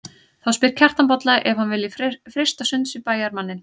Þá spyr Kjartan Bolla ef hann vilji freista sunds við bæjarmanninn.